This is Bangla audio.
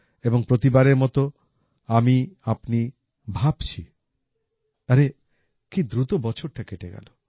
এবং প্রতিবারের মত আমিআপনি ভাবছিআরে কী দ্রুত বছরটা কেটে গেল